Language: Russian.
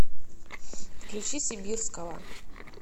включи сибирского